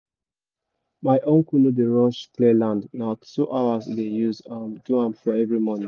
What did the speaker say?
my uncle no dey rush clear land na two hours e dey use do am for every morning